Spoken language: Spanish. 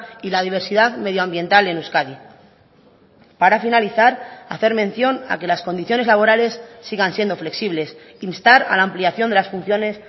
y la diversidad medioambiental en euskadi para finalizar hacer mención a que las condiciones laborales sigan siendo flexibles instar a la ampliación de las funciones